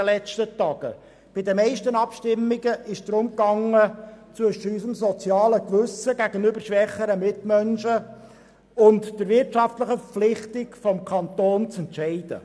Bei den meisten Abstimmungen ging es darum, zwischen unserem sozialen Gewissen gegenüber schwächeren Mitmenschen und der wirtschaftlichen Verpflichtung des Kantons zu entscheiden.